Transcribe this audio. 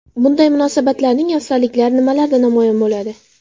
Bunday mahsulotlarning afzalliklari nimalarda namoyon bo‘ladi?